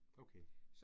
Okay